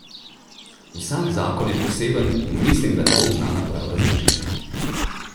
Vsak zakon je poseben in mislim, da ne bom znala prav razložiti.